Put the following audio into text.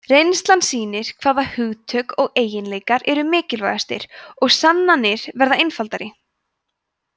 reynslan sýnir hvaða hugtök og eiginleikar eru mikilvægastir og sannanir verða einfaldari